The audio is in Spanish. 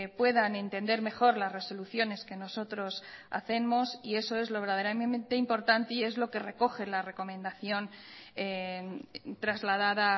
puedan entender mejor las resoluciones que nosotros hacemos y eso es lo verdaderamente importante y es lo que recoge la recomendación trasladada